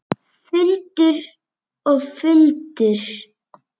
Fundur og fundur.